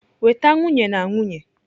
Weta nwunye na nwunye!